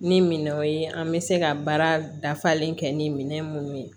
Ni minɛnw ye an bɛ se ka baara dafalen kɛ ni minɛn mun ye